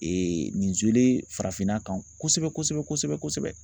Ee nin farafinna kan kosɛbɛ kosɛbɛ kosɛbɛ